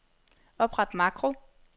Opret makro.